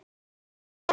Látinna minnst.